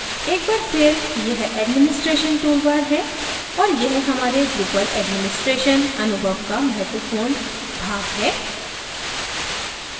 एक बार फिर यह administration toolbar है और यह हमारे drupal administration अनुभव का महत्वपूर्ण भाग है